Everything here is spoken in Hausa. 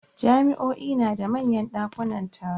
Jami'o'i na da manyan dakunan taro.